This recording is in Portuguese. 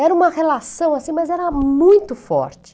Era uma relação assim, mas era muito forte.